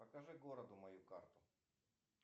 покажи городу мою карту